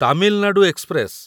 Tamil Nadu express